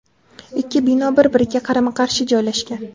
Ikki bino bir-biriga qarama-qarshi joylashgan.